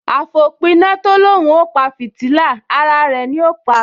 Àfòpiná tó l’óun ó pa fìtílà, ara rẹ̀ ni ó pa